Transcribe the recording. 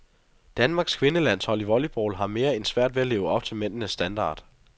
Danmarks kvindelandshold i volleyball har mere end svært ved at leve op til mændenes standard.